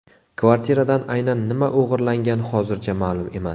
Kvartiradan aynan nima o‘g‘irlangan hozircha ma’lum emas.